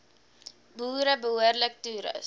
boere behoorlik toerus